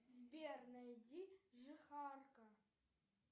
сбер найди жихарка